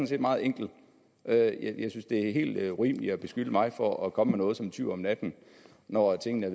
set meget enkelt og jeg jeg synes det er helt urimeligt at beskylde mig for at komme med noget som en tyv om natten når tingene